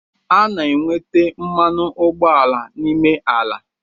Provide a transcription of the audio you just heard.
A na enweta mmanụ ụgbọala n’ime ala